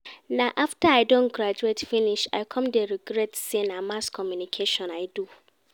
Na after I don graduate finish I come dey regret say na Mass Communication I do